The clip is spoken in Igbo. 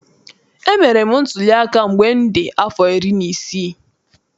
Emere m ntuliaka mgbe m dị afọ iri na isii.